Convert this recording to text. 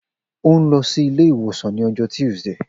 O n lọ si ile-iwosan ni ọjọ Tuesday